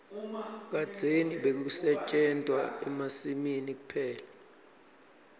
kadzeni bekusetjentwa emasimini kuphela